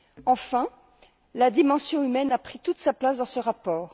Enfin, la dimension humaine a pris toute sa place dans ce rapport.